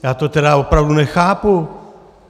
Já to tedy opravdu nechápu.